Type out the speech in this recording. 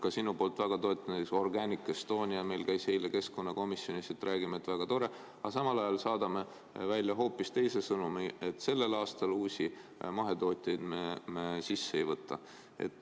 Ka sinu poolt väga toetanud Organic Estonia käis meil eile keskkonnakomisjonis, räägime, et väga tore, aga samal ajal saadame välja hoopis teise sõnumi, et sellel aastal uusi mahetootjaid me sisse ei võta.